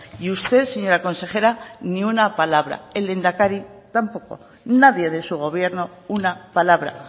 y usted señora consejera ni una palabra el lehendakari tampoco nadie de su gobierno una palabra